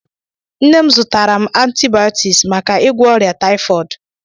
Nne m zụtaram antibiotics màkà igwo órià typhooid.